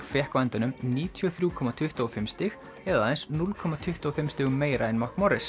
fékk á endanum níutíu og þrjú komma tuttugu og fimm stig eða aðeins núll komma tuttugu og fimm stigum meira en